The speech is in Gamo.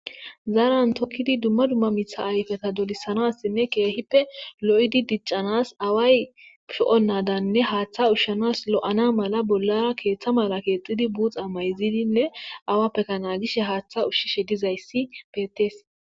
zaaran tokkidi duma duma mitha ayfeta dolisanasine keehippe lo7idi diccanas awa ayfe ho7onnadanne haaththa ushshanas lo7ana mala bollara keeththa mala keexxidi buuxa mayzidinne awappekana gishe haaththa ushshishe dizayssi betees.